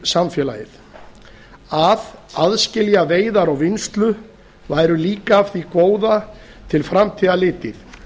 samfélagið að aðskilja veiðar og vinnslu væri líka af því góða til framtíðar litið